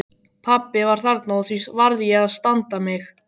Pabbi var þarna og því varð ég að standa mig.